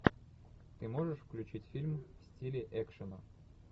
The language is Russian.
ты можешь включить фильм в стиле экшена